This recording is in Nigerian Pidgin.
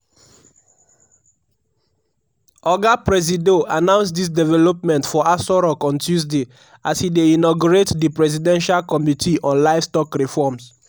oga presido announce dis development for aso rock on tuesday as e dey inaugurate di presidential committee on livestock reforms